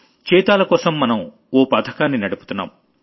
చీతాలకోసం మనం ఓ పథకాన్ని నడుపుతున్నాం